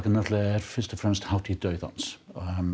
er náttúrulega fyrst og fremst hátíð dauðans